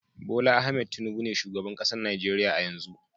Bola Ahmed Tinubu be shugaban kasan Nijeriya a'yanzu.